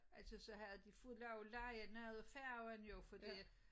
Altså så havde de fået lov at leje noget af færgen jo fordi at